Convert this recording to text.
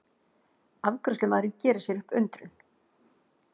Afgreiðslumaðurinn gerir sér upp undrun.